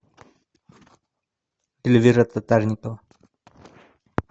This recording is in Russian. эльвира татарникова